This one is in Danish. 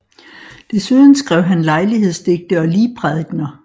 Desuden skrev han lejlighedsdigte og ligprædikener